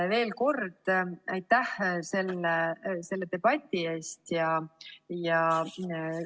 Veel kord aitäh selle debati eest!